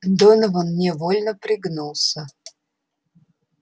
донован невольно пригнулся